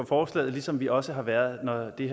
forslaget ligesom vi også har været det